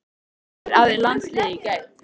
Hvar æfði landsliðið í gær?